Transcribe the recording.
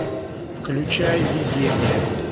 включай видение